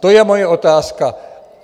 To je moje otázka.